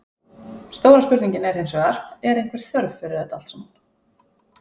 Stóra spurningin er hinsvegar, er einhver þörf fyrir þetta allt saman?